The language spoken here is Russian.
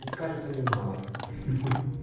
кажется немало ха-ха